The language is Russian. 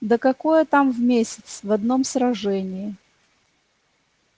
да какое там в месяц в одном сражении